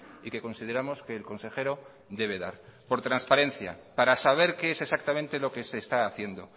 y que consideramos que el consejero debe dar por transparencia para saber qué es exactamente lo que se está haciendo